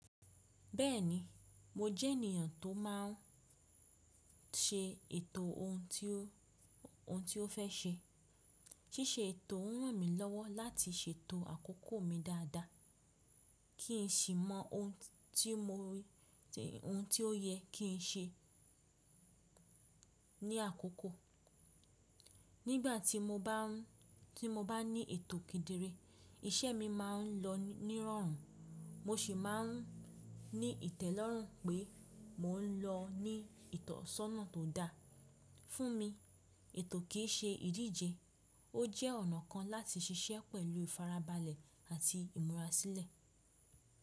Bẹ́ẹ̀ni, mo jẹ́ ènìyàn tó máà ń ṣe ètò ohun tó, ohun tí ó fẹ́ ṣe. Síse ètò ń ràn lmílọ́wọ́ láti ṣètò àkókò mi dáadáa, kí n sì mọ ohun tí mo rí, ohun tí ó yẹ kí n ṣe ní àkókò. Nígbà tí mo bá ń, tí mo bá ní ètò kéderé, iṣẹ́ mi máa ń lọ nírọ̀rùn, mo sì máa ń ní ìtẹ́lọ́rùn pé mò ń lọ ní ìtọ̀sọ́nà tó dà. Fún mi, ètò kì í ṣe ìdíje, ó jẹ́ ọ̀nà kan láti ṣiṣẹ́ pẹ̀lú ìfarabalẹ̀ àti ìmúrasílẹ̀.